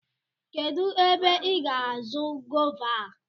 Kedụ ébé ị gá àzọ́ gova a?